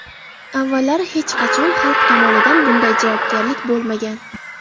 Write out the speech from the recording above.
Avvallari hech qachon xalq tomonidan bunday hozirjavoblik bo‘lmagan.